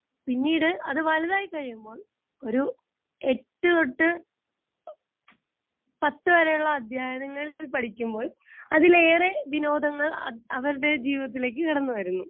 Speaker 2 പിന്നീട് അത് വലുതായി കഴിയുമ്പോൾ ഒരു എട്ടു തൊട്ട് പത്തു വരെയുള്ള അധ്യയനങ്ങളിൽ പഠിക്കുമ്പോൾ അതിലേറെ വിനോദങ്ങൾ അവരുടെ ജീവിതത്തിലേയ്ക്ക് കടന്നുവരുന്നു.